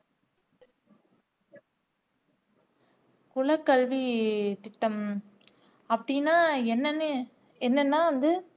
குலக்கல்வித்திட்டம் அப்படின்னா என்னன்னு என்னன்னா வந்து